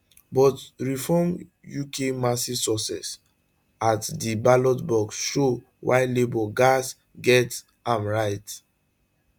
but reform uk massive success at di ballot box show why labour gatz get am right